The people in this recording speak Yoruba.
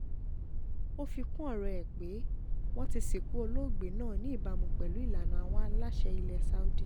ó fi kún ọ̀rọ̀ ẹ̀ pé wọ́n ti sìnkú olóògbé náà ní ìbámu pẹ̀lú ìlànà àwọn aláṣẹ ilẹ̀ saudi